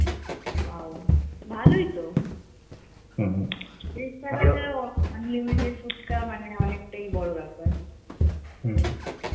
wow! ভালই তো পয়ত্রিশ টাকায় unlimited ফুচকা মানে অনেকটাই বড় ব্যাপার.